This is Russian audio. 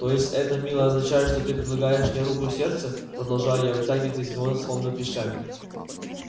то есть это милый означает что ты предлагаешь мне руку и сердце продолжаю я вытягивать из него словно клещами